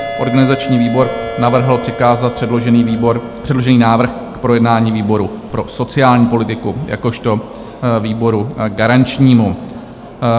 Organizační výbor navrhl přikázat předložený návrh k projednání výboru pro sociální politiku jakožto výboru garančnímu.